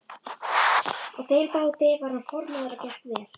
Á þeim báti var hann formaður og gekk vel.